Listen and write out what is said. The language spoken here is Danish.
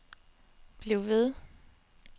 bliv ved